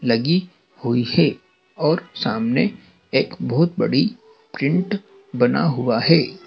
लगी हुई है और सामने एक बहुत बड़ी प्रिंट बना हुआ है।